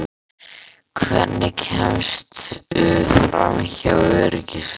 Hvernig kemstu framhjá öryggisvörðunum?